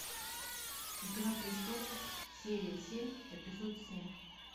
игра престолов серия семь эпизод семь